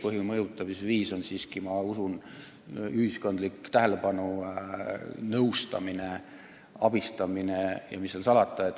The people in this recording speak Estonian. Põhiline mõjutamisviis on siiski, ma usun, ühiskonna tähelepanu, direktori nõustamine ja muul moel abistamine.